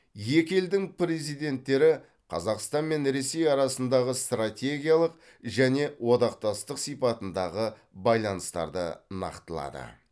екі елдің президенттері қазақстан мен ресей арасындағы стратегиялық және одақтастық сипатындағы байланыстарды нақтылады